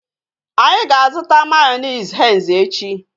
Anyị ga-azuta mayonezi Henzi echi